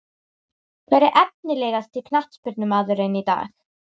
Hver er efnilegasti knattspyrnumaðurinn í dag?